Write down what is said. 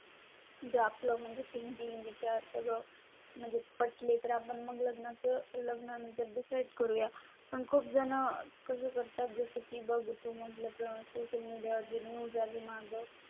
जर आपलं थिंकिंग विचार म्हणजे पटले तर आपण मग लग्ना चं लग्नानंतर डिसाइड करू या पण खूप जण कसं करतात जसे की बघा म्हटलं सोशल मीडियावर जी न्यूज आली माझं